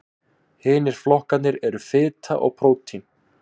hinir flokkarnir eru fita og prótín